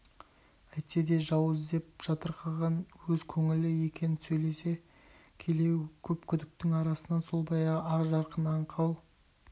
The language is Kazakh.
әйтсе де жау іздеп жатырқаған өз көңілі екен сөйлесе келе көп күдіктің арасынан сол баяғы ақ жарқын аңқау